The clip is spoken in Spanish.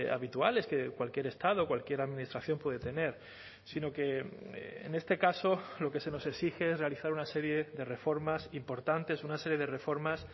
habituales que cualquier estado o cualquier administración puede tener sino que en este caso lo que se nos exige es realizar una serie de reformas importantes una serie de reformas